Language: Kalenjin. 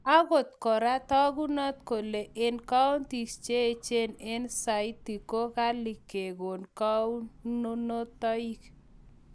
ogot kora, tagunot kole en kaonties cheechen en saiti ko ghali kegon konunotig